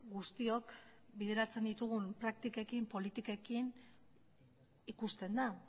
guztiok bideratzen ditugun praktikekin politikekin ikusten da